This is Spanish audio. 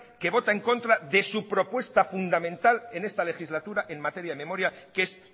que vota en contra de su propuesta fundamental en esta legislatura en materia de memoria que es